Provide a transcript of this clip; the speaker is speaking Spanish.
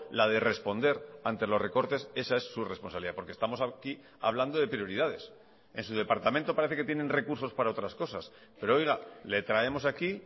la de responder ante los recortes esa es su responsabilidad porque estamos aquí hablando de prioridades en su departamento parece que tienen recursos para otras cosas pero oiga le traemos aquí